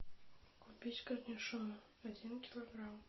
купить корнишоны один килограмм